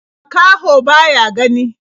Makaho ba ya gani.